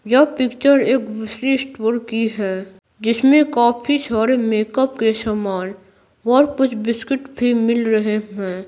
यह पिक्चर एक दूसरी स्टोर की है जिसमें काफी सारे मेकअप के सामान और कुछ बिस्किट भी मिल रहे हैं।